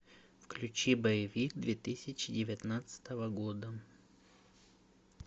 включи боевик две тысячи девятнадцатого года